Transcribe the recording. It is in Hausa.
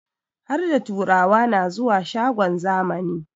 Harda turawa na zuwa shagon zamani